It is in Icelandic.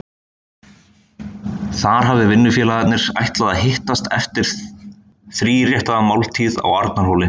Þar hafi vinnufélagarnir ætlað að hittast eftir þríréttaða máltíð á Arnarhóli.